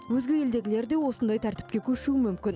өзге елдегілер де осындай тәртіпке көшуі мүмкін